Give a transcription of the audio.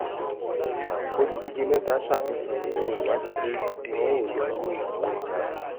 oludije meta safihan ninu iwadi pe won o yo owo iranwo epo